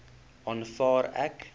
aanvaar ek